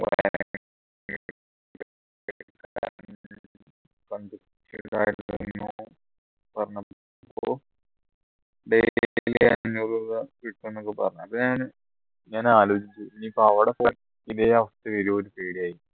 പറഞ്ഞു അപ്പോ daily അന്നൂർ രൂപ കിട്ടു എന്നൊക്കെ പറഞ്ഞു അപ്പോ ഞാൻ ഞാൻ ആലോചിച്ചു ഇനിയിപ്പോ അവിടെ പോയ ഇതേ അവസ്ഥ വരോ